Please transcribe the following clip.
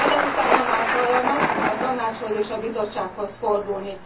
Ezek után nem átallanak a Tanácshoz és a Bizottsághoz fordulni.